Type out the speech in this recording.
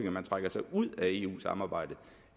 at man trækker sig ud af eu samarbejdet